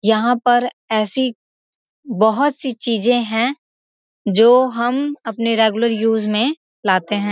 यहाँ पर ऐसी बहोत सी चीजे हैं जो हम अपने रेगुलर यूज में लाते हैं।